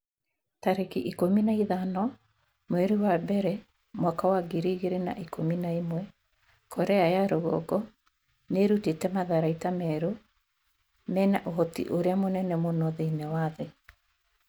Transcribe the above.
tarĩki ikũmi na ithano mweri wa mbere mwaka wa ngiri igĩrĩ na ikũmi na ĩmwe Korea ya rũgongo nĩ ĩrutĩte matharaita merũ mena ũhoti ũrĩa mũnene mũno thĩinĩ wa thĩ.'